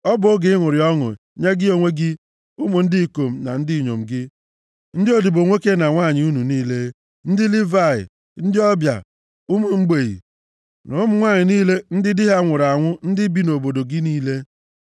Ọ bụ oge ịṅụrị ọṅụ, nye gị onwe gị, ụmụ ndị ikom na ndị inyom gị, ndị odibo nwoke na nwanyị unu niile, ndị Livayị, ndị ọbịa, ụmụ mgbei na ụmụ nwanyị niile di ha nwụrụ anwụ ndị bi nʼobodo gị niile.